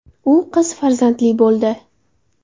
U qiz farzandli bo‘ldi .